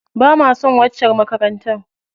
Bama son waccar makarantar.